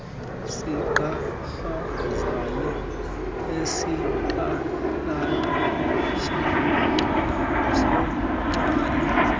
zigqakrazayo izitalato zagcwala